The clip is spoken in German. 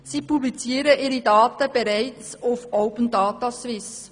Sie publizieren ihre Daten bereits auf «Open Data Swiss».